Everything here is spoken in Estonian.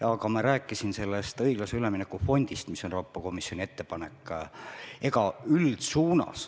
Aga ma rääkisin ennist õiglase ülemineku fondist, mis on Euroopa Komisjoni ettepanek.